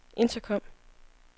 intercom